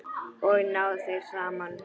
Og ná þeir saman?